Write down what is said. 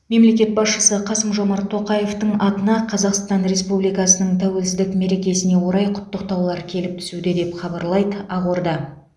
мемлекет басшысы қасым жомарт тоқаевтың атына қазақстан республикасының тәуелсіздік мерекесіне орай құттықтаулар келіп түсуде деп хабарлайды ақорда